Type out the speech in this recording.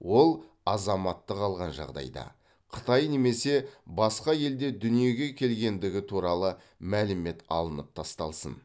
ол азаматтық алған жағдайда қытай немесе басқа елде дүниеге келгендігі туралы мәлімет алынып тасталсын